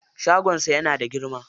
Shagon sa yana da girma.